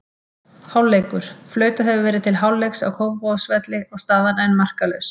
Hálfleikur: Flautað hefur verið til leikhlés á Kópavogsvelli og staðan enn markalaus.